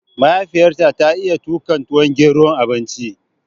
Mahaifiyar ta ta iya tuƙa tuwon gero, abinci